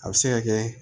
A bɛ se ka kɛ